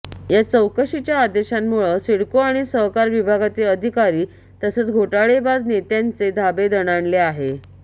या चौकशीच्या आदेशामुळं सिडको आणि सहकार विभागातील अधिकारी तसंच घोटाळेबाज नेत्यांचे धाबे दणाणलं आहे